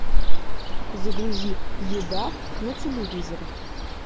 загрузи еда на телевизоре